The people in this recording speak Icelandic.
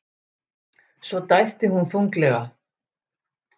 Svo dæsti hún þunglega.